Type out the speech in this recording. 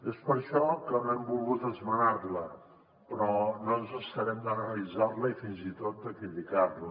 és per això que no hem volgut esmenar la però no ens estarem d’analitzar la i fins i tot de criticar la